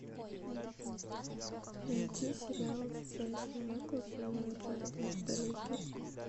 найти сериал с джейсоном эклзом и джаредом падалеки